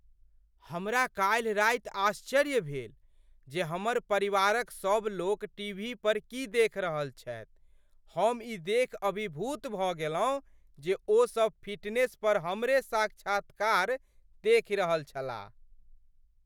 हमरा काल्हि राति आश्चर्य भेल जे हमर परिवारक सभ लोक टीवी पर की देखि रहल छथि, हम ई देखि अभिभूत भऽ गेलहुँ जे ओ सब फिटनेस पर हमरे साक्षात्कार देखि रहल छलाह।